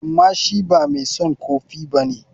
Amma shi ba mai son kofi ba ne.